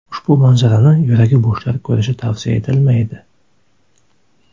Ushbu manzarani yuragi bo‘shlar ko‘rishi tavsiya etilmaydi.